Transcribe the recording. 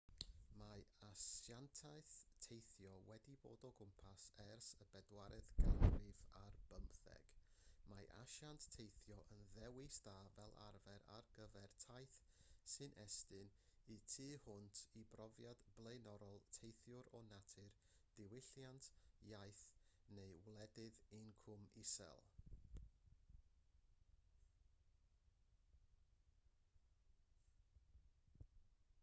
mae asiantaethau teithio wedi bod o gwmpas ers y bedwaredd ganrif ar bymtheg mae asiant teithio yn ddewis da fel arfer ar gyfer taith sy'n estyn y tu hwnt i brofiad blaenorol teithiwr o natur diwylliant iaith neu wledydd incwm isel